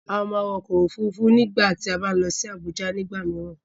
A máa wọ ọkọ̀ òfurufú tí a bá ń lọ sí Abuja nigba mìíràn.